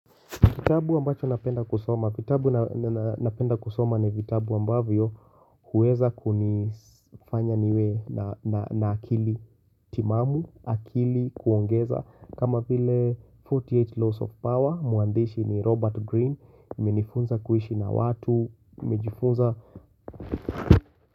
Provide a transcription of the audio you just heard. Kitabu ambacho napenda kusoma, vitabu napenda kusoma ni vitabu ambavyo huweza kunifanya niwe na akili timamu, akili kuongeza kama vile 48 laws of power mwandishi ni Robert Green amenifunza kuishi na watu nimejiifunza.